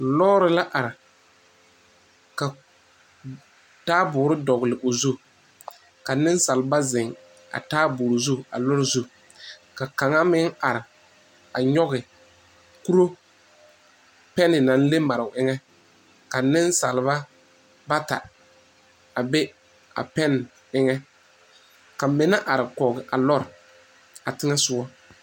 Lɔɔre la are ka taaboore dɔgle o zu ka nensalba zeŋ a taaboore zu a lɔɔre zu ka kaŋa meŋ are a nyɔge kuro pɛne naŋ le mare o eŋɛ ka nensalba bata a be a pɛne eŋɛ ka mine are kɔge a lɔre a teŋɛ sogɔ.